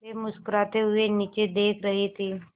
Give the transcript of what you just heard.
वे मुस्कराते हुए नीचे देख रहे थे